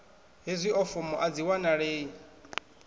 hezwio fomo a dzi wanalei